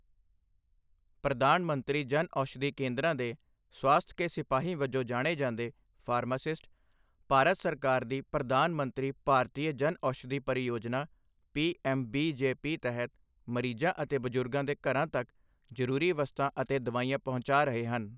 ਪ੍ਰਧਾਨ ਮੰਤਰੀ ਜਨਔਸ਼ਧੀ ਕੇਂਦਰਾਂ ਦੇ ਸਵਾਸਥ ਕੇ ਸਿਪਾਹੀ ਵਜੋਂ ਜਾਣੇ ਜਾਂਦੇ, ਫਾਰਮਾਸਿਸਟ, ਭਾਰਤ ਸਰਕਾਰ ਦੀ ਪ੍ਰਧਾਨ ਮੰਤਰੀ ਭਾਰਤੀਯ ਜਨਔਸ਼ਧੀ ਪਰਿਯੋਜਨਾ ਪੀਐੱਮਬੀਜੇਪੀ ਤਹਿਤ ਮਰੀਜ਼ਾਂ ਅਤੇ ਬਜ਼ੁਰਗਾਂ ਦੇ ਘਰਾਂ ਤੱਕ ਜ਼ਰੂਰੀ ਵਸਤਾਂ ਅਤੇ ਦਵਾਈਆਂ ਪਹੁੰਚਾ ਰਹੇ ਹਨ।